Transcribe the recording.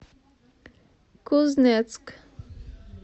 кузнецк